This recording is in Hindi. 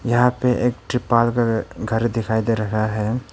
यहाँ पे एक त्रिपाल का घर दिखाई दे रहा है।